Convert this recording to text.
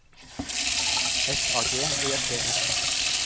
F A G E T S